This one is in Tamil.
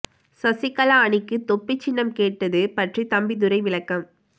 சசிகலா அணிக்கு தொப்பிச் சின்னம் கேட்டது பற்றி தம்பிதுரை விளக்கம்